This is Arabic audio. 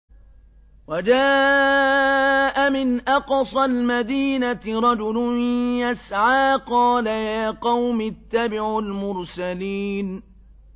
وَجَاءَ مِنْ أَقْصَى الْمَدِينَةِ رَجُلٌ يَسْعَىٰ قَالَ يَا قَوْمِ اتَّبِعُوا الْمُرْسَلِينَ